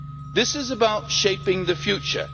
This is about shaping the future.